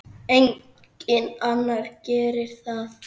Enginn annar gerir það.